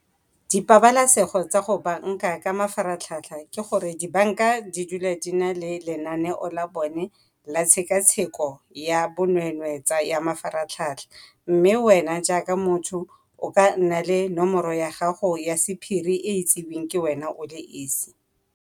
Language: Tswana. Dipabalesego tsa go banka ka mafaratlhatlha ke gore dibanka di dula di na le lenaneo la bone la tshekatsheko ya bonweenwee tsa ya mafatlhatlha mme wena jaaka motho o ka nna le nomoro ya gago ya sephiri e e itseweng ke wena o le esi.